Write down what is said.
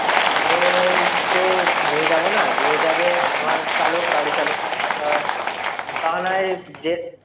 আমি তো নিয়ে যাবো না, নিয়ে যাবে আমার চালক গাড়িচালক। তা তা না হয় যে